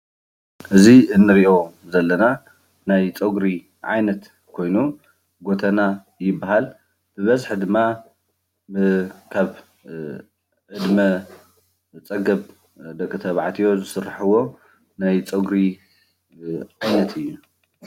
እዚ እንሪኦ ዘለና ናይ ፀጉሪ ዓይነት ኮይኑ ጉተና ይባሃል፡፡ ብበዝሒ ድማ ብካብ ዕድማ ፀገብ ደቂ ተባዕትዮ ዝስርሕዎ ናይ ፀጉሪ ዓይነት እዩ፡፡